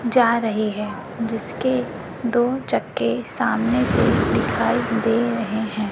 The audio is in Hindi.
जा रहे हैं जिसके दो चक्के सामने से दिखाई दे रहे हैं।